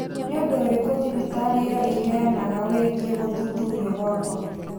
Nĩ ũndũ ũrĩkũ thibitarĩ ĩyo ĩheanaga wĩgiĩ gũthuthurio gwakwa?